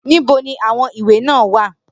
Nibo ni awọn iwe naa wa.